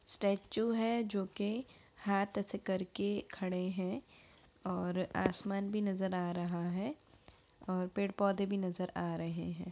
Statue है जो कि हाथ ऐसे करके खड़े है और आसमान भी नजर आ रहा है और पेड़-पौधे भी नजर आ रहे है।